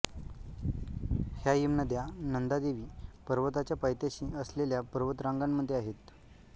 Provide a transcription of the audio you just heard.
ह्या हिमनद्या नंदादेवी पर्वताच्या पायथ्याशी असलेल्या पर्वत रांगांमध्ये आहेत